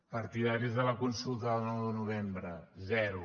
partidaris de la consulta del nou de novembre zero